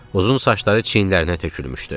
Uzun saçları çiynlərinə tökülmüşdü.